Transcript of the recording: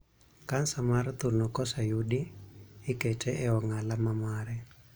Kansa mar thuno koseyudi, ikete e ong'ala mare.